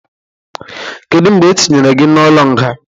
Kedu mgbe etinyere gị n'ụlọ nga?